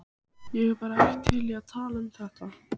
Ég er bara ekki til í að tala um þetta.